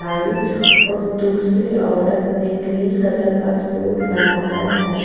दूसरी औरत ने ग्रीन कलर का सूट लगाया है --